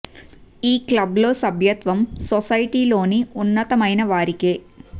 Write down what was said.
ఈ క్లబ్ లో సభ్యత్వం సొసైటీ లోని ఉన్నత మైన వారికే